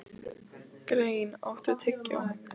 Grein, áttu tyggjó?